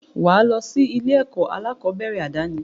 Wà á lọ sí ilé-ẹ̀kọ́ aláàkọ́bẹ̀rẹ̀ àdáni.